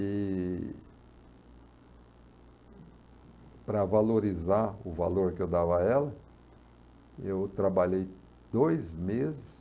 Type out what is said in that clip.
E para valorizar o valor que eu dava a ela, eu trabalhei dois meses